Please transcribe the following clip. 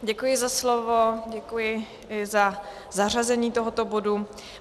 Děkuji za slovo, děkuji i za zařazení tohoto bodu.